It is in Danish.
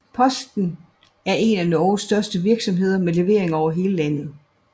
Posten er en af Norges største virksomheder med leveringer over hele landet